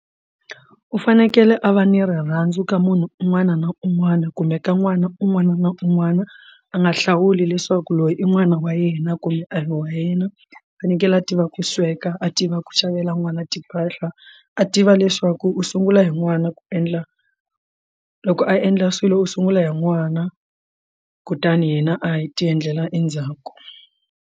U fanekele a va ni rirhandzu ka munhu un'wana na un'wana kumbe ka n'wana un'wana na un'wana a nga hlawuli leswaku loyi i n'wana wa yena kumbe a hi wa yena u fanekele a tiva ku sweka a tiva ku xavela n'wana timpahla a tiva leswaku u sungula hi n'wana ku endla loko a endla swilo u sungula hi n'wana kutani hina a hi ti endlela endzhaku.